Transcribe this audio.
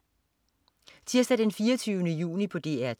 Tirsdag den 24. juni - DR 2: